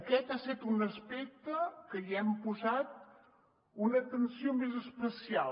aquest ha set un aspecte que hi hem posat una atenció més especial